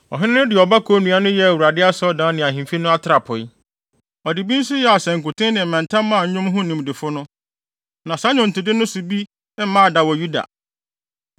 Ɔhene no de ɔbako nnua no yɛɛ Awurade Asɔredan ne ahemfi no atrapoe. Ɔde bi nso yɛɛ asankuten ne mmɛnta maa nnwom ho nimdefo no. Na saa nnwontode no so bi mmaa da wɔ Yuda.